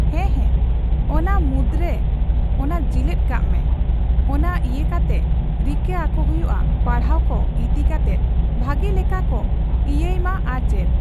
ᱦᱮᱸ, ᱦᱮᱸ᱾ ᱚᱱᱟ ᱢᱩᱫᱨᱮ ᱨᱮ ᱚᱱᱮ ᱡᱤᱞᱟᱹᱛ ᱠᱟᱜ ᱢᱮ ᱚᱱᱟ ᱤᱭᱟᱹ ᱠᱟᱛᱮ ᱨᱤᱠᱟᱹ ᱟᱠᱚ ᱦᱩᱭᱩᱜᱼᱟ ᱯᱟᱲᱦᱟᱣ ᱠᱚ ᱤᱫᱤ ᱠᱟᱛᱮᱫ ᱵᱷᱟᱹᱜᱤ ᱞᱮᱠᱟ ᱠᱚ ᱤᱭᱟᱹᱭ ᱢᱟ ᱟᱨ ᱪᱮᱫ ᱾